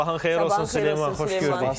Sabahın xeyir olsun Süleyman, xoş gördük.